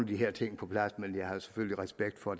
de her ting på plads men jeg har selvfølgelig respekt for